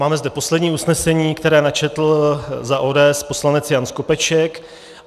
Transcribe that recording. Máme zde poslední usnesení, které načetl za ODS poslanec Jan Skopeček.